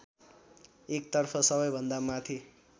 एकतर्फ सबैभन्दा माथि